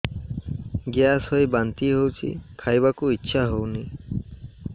gas ହୋଇ ବାନ୍ତି ହଉଛି ଖାଇବାକୁ ଇଚ୍ଛା ହଉନି